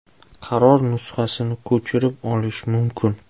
Qaror nusxasini ko‘chirib olish mumkin.